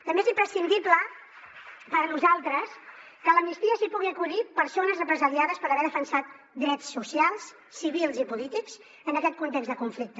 també és imprescindible per nosaltres que a l’amnistia s’hi puguin acollir persones represaliades per haver defensat drets socials civils i polítics en aquest context de conflicte